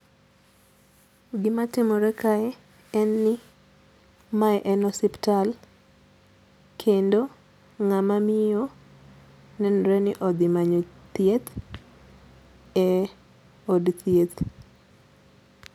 Gima timore kae en ni mae en osiptal kendo ng'ama miyo nenore ni odhi manyo thieth e od thieth.